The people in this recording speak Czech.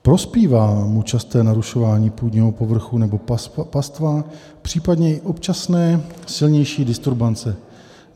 Prospívá mu časté narušování půdního povrchu nebo pastva, případně i občasné silnější disturbance.